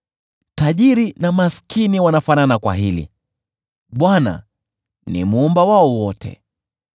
Tajiri na maskini wanafanana kwa hili: Bwana ni Muumba wao wote.